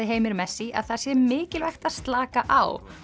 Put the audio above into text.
Heimir messi að það sé mikilvægt að slaka á